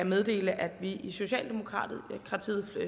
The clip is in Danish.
meddele at vi i socialdemokratiet